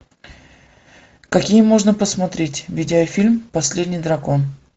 какие можно посмотреть видеофильм последний дракон